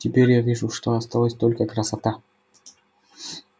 теперь я вижу что осталась только красота